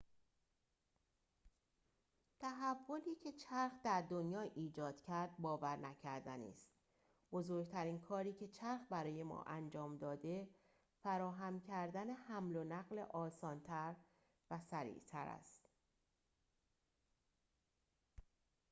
تحولی که چرخ در دنیا ایجاد کرد باورنکردنی است بزرگترین کاری که چرخ برای ما انجام داده فراهم کردن حمل و نقل آسان‌تر و سریع‌تر است